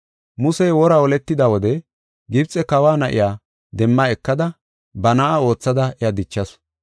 Musey wora holetida wode Gibxe kawa na7iya demma ekada ba na7a oothada iya dichasu.